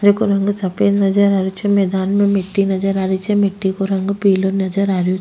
जेको रंग सफेद नजर आ रो छे मैदान में मिट्टी नजर आ रही छे मिट्टी को रंग पिलो नजर आ रो --